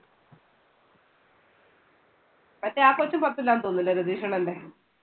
മറ്റേ ആ കൊച്ചും പത്തിലാന്ന് തോന്നുന്നല്ലേ രതീഷണ്ണന്റെ?